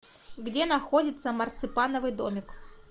где находится марципановый домик